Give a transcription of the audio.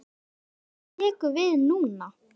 Þórir: Hvað tekur við núna?